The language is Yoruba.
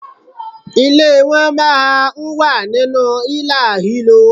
Ilé won máa n wà nínú ílàhílo